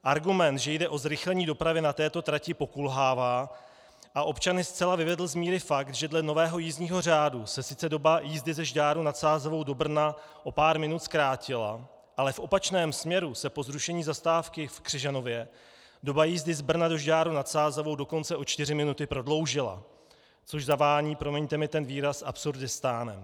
Argument, že jde o zrychlení dopravy na této trati, pokulhává, a občany zcela vyvedl z míry fakt, že dle nového jízdního řádu se sice doba jízdy ze Žďáru nad Sázavou do Brna o pár minut zkrátila, ale v opačném směru se po zrušení zastávky v Křižanově doba jízdy z Brna do Žďáru nad Sázavou dokonce o čtyři minuty prodloužila, což zavání, promiňte mi ten výraz, Absurdistánem.